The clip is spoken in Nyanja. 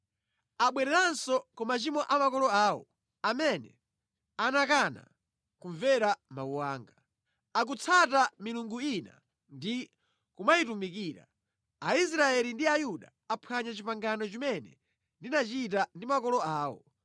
Abwereranso ku machimo a makolo awo, amene anakana kumvera mawu anga. Akutsata milungu ina ndi kumayitumikira. Aisraeli ndi Ayuda aphwanya pangano limene ndinachita ndi makolo awo.